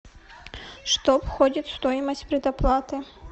что входит в стоимость предоплаты